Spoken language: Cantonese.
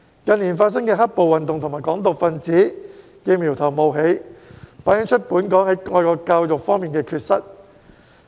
近年發生的"黑暴"運動和"港獨"分子的苗頭冒起，反映本港在愛國教育方面的缺失。